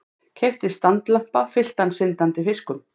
Keypti standlampa fylltan syndandi fiskum.